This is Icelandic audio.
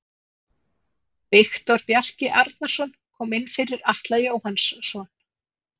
Viktor Bjarki Arnarsson kom inn fyrir Atla Jóhannsson.